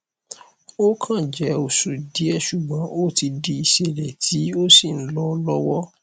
ó kàn jẹ oṣù díẹ ṣùgbọn ó ti di ìṣẹlẹ tí ó sì ń lọ lọwọ